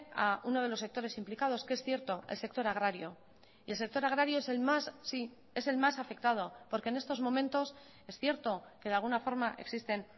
a uno de los sectores implicados que es cierto el sector agrario y el sector agrario es el más sí es el más afectado porque en estos momentos es cierto que de alguna forma existen